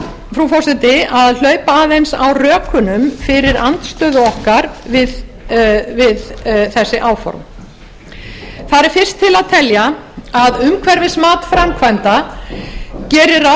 og ég ætla frú forseti að hlaupa aðeins á rökunum fyrir andstöðu okkar við þessi áform þar er fyrst til að telja að umhverfismat framkvæmda gerir ráð